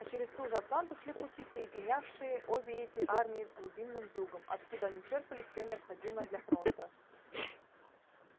а через ту же атланту шли пути соединявшие обе эти армии с глубинным югом откуда они черпали все необходимое для фронта